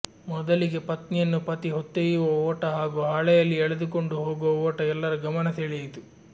ಮೊದಲಿಗೆ ಪತ್ನಿಯನ್ನು ಪತಿ ಹೊತ್ತೊಯ್ಯುವ ಓಟ ಹಾಗೂ ಹಾಳೆಯಲ್ಲಿ ಎಳೆದುಕೊಂಡು ಹೋಗುವ ಓಟ ಎಲ್ಲರ ಗಮನ ಸೆಳೆಯಿತು